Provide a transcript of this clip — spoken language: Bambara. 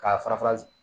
K'a fara fara